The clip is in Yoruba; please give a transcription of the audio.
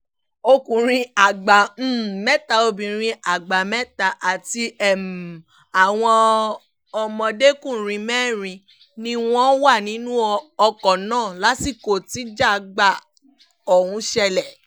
ọkùnrin àgbà um mẹ́ta obìnrin àgbà mẹ́ta àti um àwọn ọmọdékùnrin mẹ́rin ni wọ́n wà nínú ọkọ̀ náà lásìkò tíjágbá ọ̀hún ṣẹlẹ̀